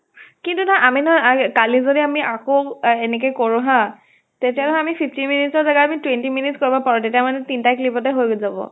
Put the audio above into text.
কিন্তু নহয় আমি নহয় আই কালি যদি আমি আকৌ এনেকে কৰো হা তেতিয়া নহয় আমি fifteen minutes ৰ জাগাত আমি twenty minutes কৰিব পাৰো। তেতিয়া মানে তিন টা clip তে হৈ যাব।